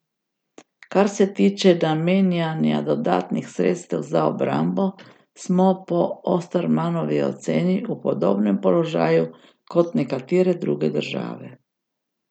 Kar se tiče namenjanja dodatnih sredstev za obrambo, smo po Ostermanovi oceni v podobnem položaju kot nekatere druge države.